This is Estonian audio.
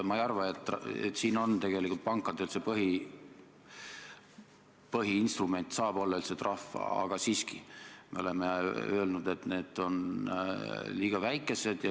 Ma ei arva, et tegelikult pankade puhul põhiinstrument saab olla üldse trahv, aga siiski, me oleme öelnud, et need trahvid on liiga väikesed.